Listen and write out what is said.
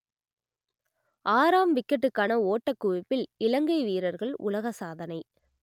ஆறாம் விக்கெட்டுக்கான ஓட்டக் குவிப்பில் இலங்கை வீரர்கள் உலக சாதனை